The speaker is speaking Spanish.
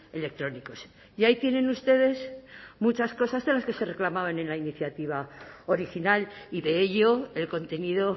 electrónicos y ahí tienen ustedes muchas cosas de las que se reclamaban en la iniciativa original y de ello el contenido